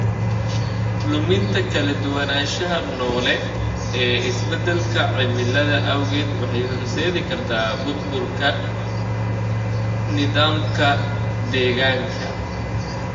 Luminta kala duwanaanshaha noole ee isbeddelka cimilada awgeed waxay horseedi kartaa burburka nidaamka deegaanka.